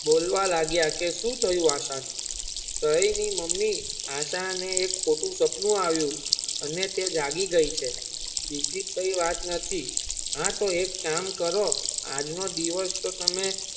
બોલવા લાગીયા કે સુ થયું આશા કૈની મમ્મી આશા ને એક ખોટું સપનું આવ્યુ અને તે જાગી ગઈ છે બીજી કોઈ વાત નથી હતો એક કામ કરો આજનો દિવસ તો તમે.